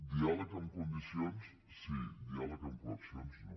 diàleg amb condicions sí diàleg amb coaccions no